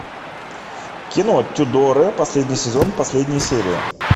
кино тюдоры последний сезон последняя серия